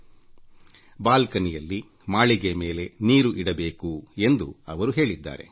ಛಾವಣಿಯಲ್ಲಿ ಮಾಳಿಗೆ ಮೇಲೆ ಪಕ್ಷಿಗಳಿಗೆ ನೀರು ಇಡಬೇಕು ಎಂದು ಅವರು ಹೇಳಿದ್ದಾರೆ